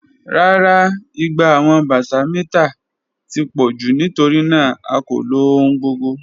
Rara, igba awọn bata mita ti pọ ju nitorinaa a ko lo ohun gbogbo.